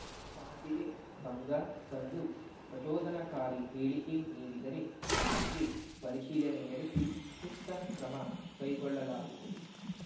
ಶಾಂತಿಗೆ ಭಂಗ ತಂದು ಪ್ರಚೋದನಕಾರಿ ಹೇಳಿಕೆ ನೀಡಿದರೆ ಆ ಬಗ್ಗೆ ಪರಿಶೀಲನೆ ನಡೆಸಿ ಸೂಕ್ತ ಕ್ರಮ ಕೈಗೊಳ್ಳಲಾಗುವುದು